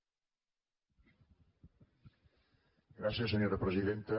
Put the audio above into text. gràcies senyora presidenta